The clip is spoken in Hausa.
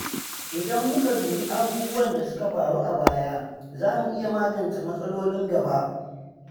Idan muka dubi abubuwan da suka faru a baya, za mu iya magance matsalolin gaba.